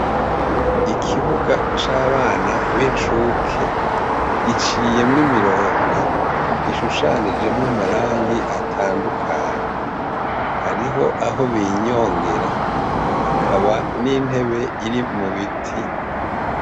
Ikibuga c'abana b'incuke giciyemwo imirongo ishushanijemwo amarangi atandukanye. hariho aho binyongera hakaba n'intebe iri mu biti.